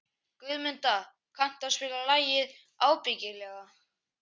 Guðmunda, kanntu að spila lagið „Ábyggilega“?